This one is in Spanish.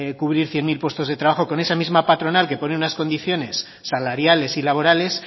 cubrir cien mil puestos de trabajo con esa misma patronal que pone unas condiciones salariales y laborales